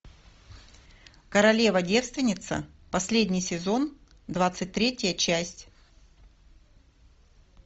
королева девственница последний сезон двадцать третья часть